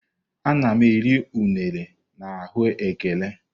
Ana m eri unere na ahu ekere.